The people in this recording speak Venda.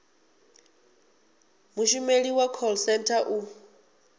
mushumeli wa call centre u